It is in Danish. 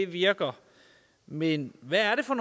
virker men hvad er det for